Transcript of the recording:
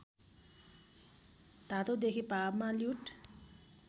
धातुदेखि भावमा ल्युट्